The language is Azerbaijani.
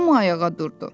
Hamı ayağa durdu.